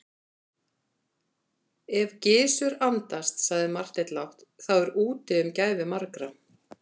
Ef Gizur andast, sagði Marteinn lágt,-þá er úti um gæfu margra.